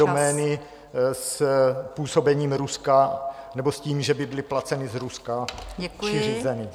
... domény s působením Ruska nebo s tím, že by byly placeny z Ruska či řízeny.